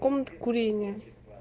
комната курения